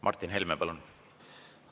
Martin Helme, palun!